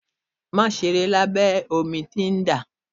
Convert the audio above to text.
Má ṣeré labẹ omi tí ń dà.